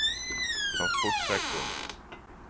transportsektoren